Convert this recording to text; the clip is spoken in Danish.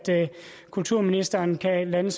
kulturministeren kan lande